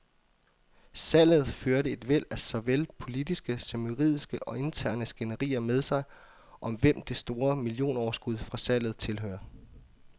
Salget førte et væld af såvel politiske som juridiske og interne skænderier med sig, om hvem det store millionoverskud fra salget tilhører.